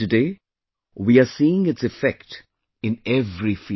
And today we are seeing its effect in every field